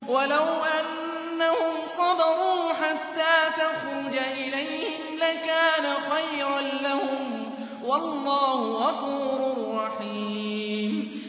وَلَوْ أَنَّهُمْ صَبَرُوا حَتَّىٰ تَخْرُجَ إِلَيْهِمْ لَكَانَ خَيْرًا لَّهُمْ ۚ وَاللَّهُ غَفُورٌ رَّحِيمٌ